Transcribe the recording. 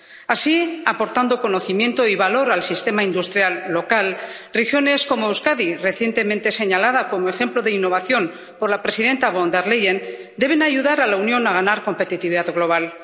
Así, aportando conocimiento y valor al sistema industrial local, regiones como Euskadi, recientemente señalada como ejemplo de innovación por la presidenta Von der Leyen, deben ayudar a la Unión a ganar competitividad global.